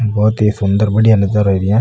बहोत सी सुन्दर बढ़िया नजारा एरिया है।